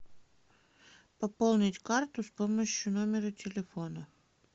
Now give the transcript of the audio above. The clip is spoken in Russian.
пополнить карту с помощью номера телефона